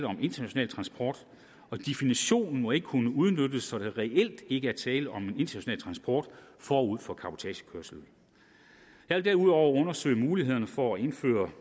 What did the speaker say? om international transport og definitionen må ikke kunne udnyttes så der reelt ikke er tale om international transport forud for cabotagekørsel jeg vil derudover undersøge muligheden for at indføre